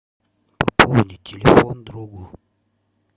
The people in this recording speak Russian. пополнить телефон другу